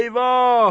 Eyvah!